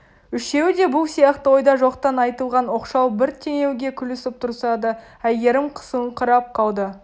үшеуі де бұл сияқты ойда жоқтан айтылған оқшау бір теңеуге күлісіп тұрса да әйгерім қысылыңқырап қалды